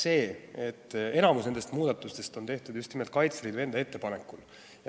Nimelt, enamik nendest muudatustest on tehtud just nimelt Kaitseliidu enda ettepanekul.